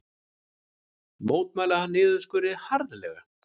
Mótmæla niðurskurði harðlega